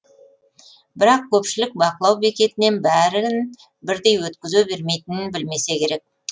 бірақ көпшілік бақылау бекетінен бәрін бірдей өткізе бермейтінін білмесе керек